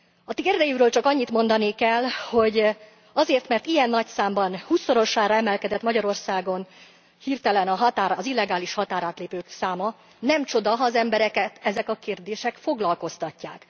Addig csak annyit mondanék el, hogy azért, mert ilyen nagy számban, hússzorosára emelkedett Magyarországon hirtelen az illegális határátlépők száma, nem csoda, ha az embereket ezek a kérdések foglalkoztatják.